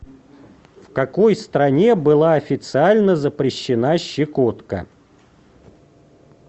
в какой стране была официально запрещена щекотка